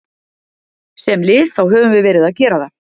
Sem lið þá höfum við verið að gera það.